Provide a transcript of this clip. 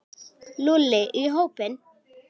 Lúlli í hópinn.